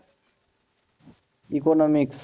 Economics